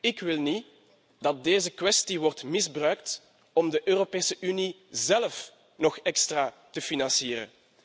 Ik wil niet dat deze kwestie wordt misbruikt om de Europese Unie zelf nog extra te financieren.